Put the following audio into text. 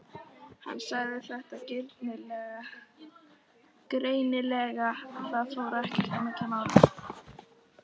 Hann sagði þetta greinilega, það fór ekkert á milli mála.